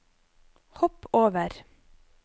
hopp over